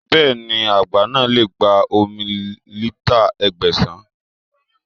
Bẹ́ẹ̀ni, àgbá náà lè gba omi lítà Ẹgbẹ̀sàn.